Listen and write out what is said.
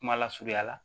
Kuma lasurunya la